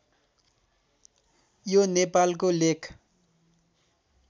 यो नेपालको लेख